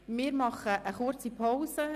Wir machen eine kurze Pause.